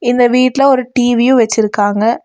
இந்த வீட்ல ஒரு டீ_வி யு வச்சிருக்காங்க.